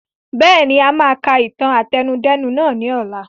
Bẹ́ẹ̀ni, a máa ka ìtàn àtẹnudẹ́nu nàá ni ọ̀la.